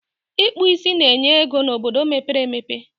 Ịkpụ ísí na-enye ego n'obodo mepere emepe